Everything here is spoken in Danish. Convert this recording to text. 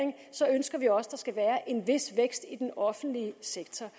ønsker vi også der skal være en vis vækst i den offentlige sektor